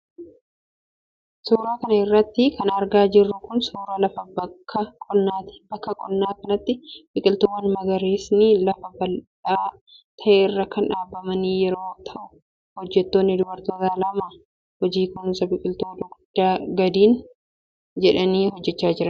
Suura kana irratti kan argaa jirru kun ,suura lafa bakka qonnaati. Bakka qonnaa kanatti biqiltuuwwan magariisni lafa bal'aa ta'e irra kan dhaabamanii jiran yoo ta'u, hojjattoonni dubartootaa lama hojii kunuunsa biqiltuu dugdaan gadi jedhanii hojjachaa jiru.